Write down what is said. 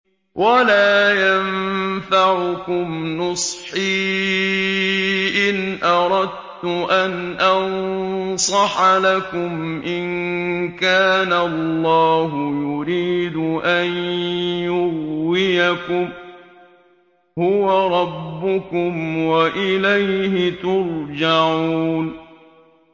وَلَا يَنفَعُكُمْ نُصْحِي إِنْ أَرَدتُّ أَنْ أَنصَحَ لَكُمْ إِن كَانَ اللَّهُ يُرِيدُ أَن يُغْوِيَكُمْ ۚ هُوَ رَبُّكُمْ وَإِلَيْهِ تُرْجَعُونَ